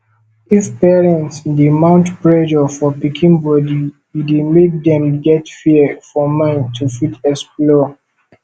if parents dey mount pressure for pikin body e dey make dem get fear for mind to fit explore